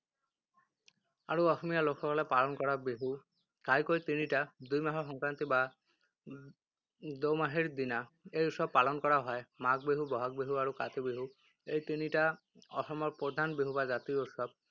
আৰু অসমীয়া লোকসকলে পালন কৰা বিহু ঘাইকৈ তিনিটা। দুই মাহৰ সংক্ৰান্তি বা দোমাহীৰ দিনা এই উৎসৱ পালন কৰা হয়। মাঘ বিহু, বহাগ বিহু আৰু কাতি বিহু। এই তিনিটাই অসমৰ প্ৰধান বিহু বা জাতীয় উৎসৱ।